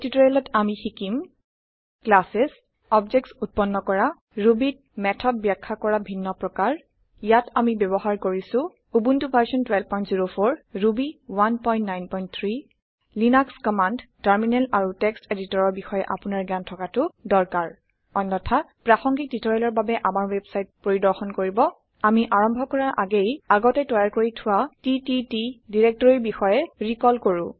এই টিওটৰিয়েলত আমি শিকিম ক্লাছেছ অবজেক্টছ উত্পন্ন কৰা Rubyত মেথডmethod ব্যখয়া কৰা ভিন্ন প্ৰকাৰ ইয়াত আমি ব্যৱহাৰ কৰিছো Ubuntu version 1204 Ruby 193 Linux command terminal আৰু text এডিটৰ ৰ বিষয় আপুনাৰ জ্ঞান থকাতু দৰকাৰ । অন্যথা প্ৰাসংগিক টিওটৰিয়েলৰ বাবে আমাৰ ৱেবছাইট পৰিৰ্দশন কৰো । আমি আৰম্ভ কৰা আগেয়ে আগতে তৈয়াৰ কৰি থোৱা টিটিটি ডিৰেক্টৰি বিষয়ে ৰিকল কৰো